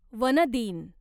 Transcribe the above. one दिन